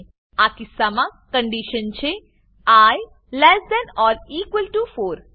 આ કિસ્સામાં કન્ડીશન છે I less than or equal to 4